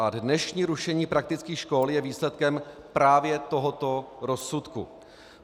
A dnešní rušení praktických škol je výsledkem právě tohoto rozsudku.